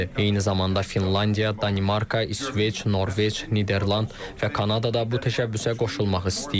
Eyni zamanda Finlandiya, Danimarka, İsveç, Norveç, Niderland və Kanada da bu təşəbbüsə qoşulmaq istəyir.